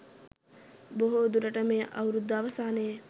බොහෝ දුරට මේ අවුරුද්ද අවසානයේ